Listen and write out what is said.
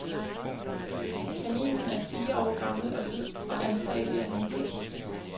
Kaninen er fire år gammel og hvid og antagelig af hankøn.